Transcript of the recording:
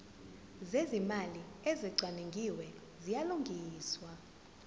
zezimali ezicwaningiwe ziyalungiswa